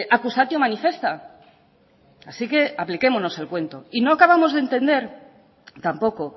accusatio manifesta así que apliquémonos el cuento y no acabamos de entender tampoco